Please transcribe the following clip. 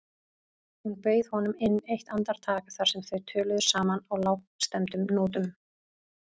Hún bauð honum inn eitt andartak þar sem þau töluðu saman á lágstemmdum nótum.